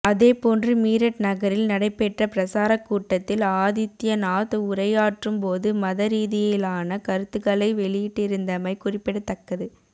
அதேபோன்று மீரட் நகரில் நடைபெற்ற பிரசாரக் கூட்டத்தில் ஆதித்யநாத் உரையாற்றும் போது மத ரீதியிலான கருத்துகளைக் வெளியிட்டிருந்தமை குறிப்பிடத்தக்கது